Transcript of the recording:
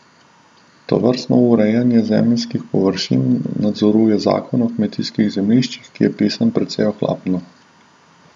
Tovrstno urejanje zemeljskih površin nadzoruje zakon o kmetijskih zemljiščih, ki je napisan precej ohlapno.